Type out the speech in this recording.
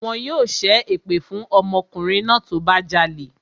Wọn yóò ṣẹ́ èpè fún ọmọkùnrin náà tó bá jalè